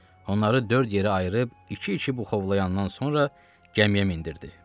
Onları dörd yerə ayırıb iki-iki buxovlayandan sonra gəmiyə mindirdi.